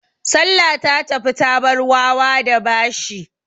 Salla ta tafi ta bar wawa da bashi.